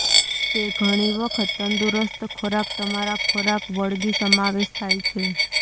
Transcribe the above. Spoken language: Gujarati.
તે ઘણી વખત તંદુરસ્ત ખોરાક તમારા ખોરાક વળગી સમાવેશ થાય છે